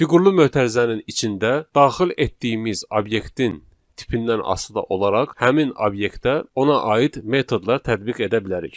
Fiqurlu mötərizənin içində daxil etdiyimiz obyektin tipindən asılı da olaraq həmin obyektə ona aid metodlar tətbiq edə bilərik.